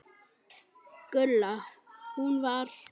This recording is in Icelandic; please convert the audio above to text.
Gulla. hún var.